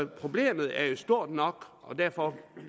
problemet er jo stort nok og derfor